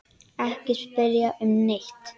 Ekki spyrja um neitt.